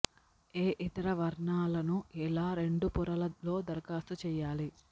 ఏ ఇతర వర్ణాలను ఇలా రెండు పొరల లో దరఖాస్తు చేయాలి